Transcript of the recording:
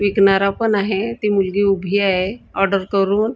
विकणारा पण आहे ती मुलगी उभी आहे ऑर्डर करून --